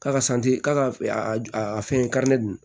K'a ka k'a ka a fɛn dun